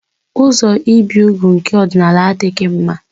Ụzọ ibi úgwù nke ọdịnala adịghị mma.